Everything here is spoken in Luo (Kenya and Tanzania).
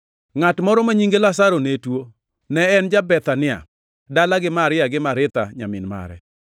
Ngʼat moro ma nyinge Lazaro ne tuo. Ne en ja-Bethania, dala gi Maria gi Maritha nyamin mare.